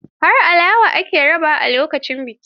Har alawa aka raba lokacin bikin.